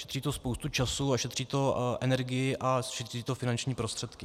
Šetří to spoustu času a šetří to energii a šetří to finanční prostředky.